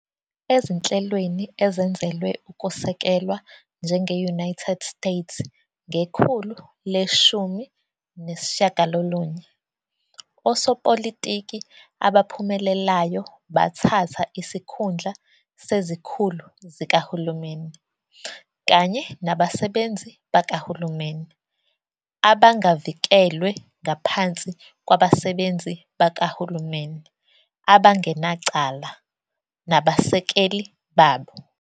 Ezinhlelweni ezenzelwe ukusekelwa, njenge-United States ngekhulu le-19, osopolitiki abaphumelelayo bathatha isikhundla sezikhulu zikahulumeni kanye nabasebenzi bakahulumeni abangavikelwe ngaphansi kwabasebenzi bakahulumeni abangenacala nabasekeli babo.